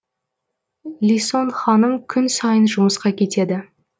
лисон ханым күн сайын жұмысқа кетеді